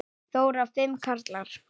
Þóra: Fimm karlar?